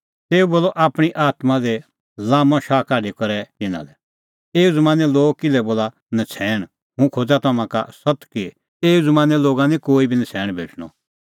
तेऊ बोलअ आपणीं आत्मां दी लाम्मअ शाह काढी करै तिन्नां लै एऊ ज़मानें लोग किल्है लोल़ा नछ़ैण हुंह खोज़ा तम्हां का सत्त कि एऊ ज़मानें लोगा निं कोई बी नछ़ैण भेटणअ